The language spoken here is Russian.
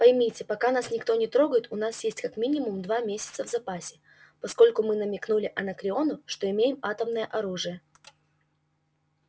поймите пока нас никто не трогает у нас есть как минимум два месяца в запасе поскольку мы намекнули анакреону что имеем атомное оружие